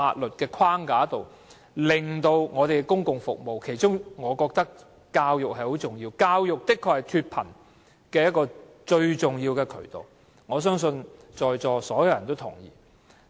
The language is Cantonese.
我認為當中最重要是教育，教育確實是脫貧的重要渠道，我相信在座所有人也認同這點。